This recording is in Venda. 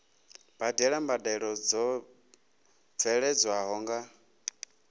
badela mbadelo dzo bveledzwaho nga